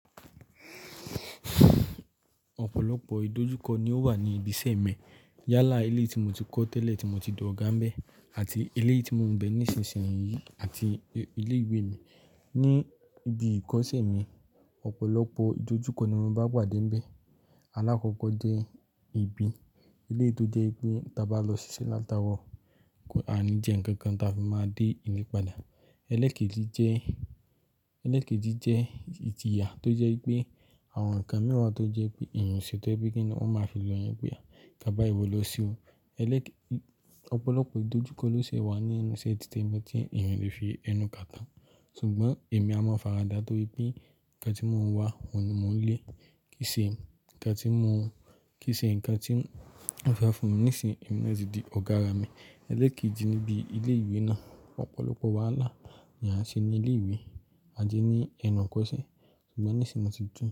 Ọ̀pọ̀lọpọ̀ ìdojúkọ ni ó wà ní ibi iṣẹ́ mi. Yálà eleyii tí mo ti kọ́ tẹ́lẹ̀ tí mo ti dọ̀ga ńbẹ́ àti eléyìí tí mò ń bẹ ní ìsinsìnyí àti ilé ìwé mi. Ni ibi ìkọ́sẹ́ mi, ọ̀pọ̀lọpọ̀ ìdojúkọ ni mo bá pàdé n bẹ́ẹ̀. Alákọ́kọ́ jẹ́ ibi, eleyii tó jẹ́ wípé ta bá lọ ṣiṣẹ́ látaarọ, ko, à ní jẹ ǹkan kan ta fi máa dé ilé padà. Elekéji jẹ́, elekéji jẹ́ ìjìyà tó jẹ́ wípé àwọn nǹkan mìí wa tó jẹ́ wípé èèyàn o ṣè tọ́ je wipe kíni wọ́n máa fi lo yin pé a, nkán báyi ìwọ lọ se o. Eleké ọ̀pọ̀lọpọ̀ ìdojúkọ ló ṣie wà ní ẹnu ise tìtẹ̀mi tí èèyàn ò le fi ẹnu kà tán. Ṣùgbọ́n èmi a mọ̀ faradà torí pé ǹkan tí mò ń wá ọ̀hun ni mò ń lé. Kìí ṣe ǹkan tí mò ń, kìí ṣe ǹkan tí wọ́n fe fún mi nísin, èmi na tí di ọ̀gá àrà mi. Eleekéji níbi ilé ìwé náà, ọ̀pọ̀lọpọ̀ wàhálà ni a ṣe n ní ilé ìwé àti ní ẹ̀nu ìkọ́sẹ́. Ṣùgbọ́n nísin mo tí dùn.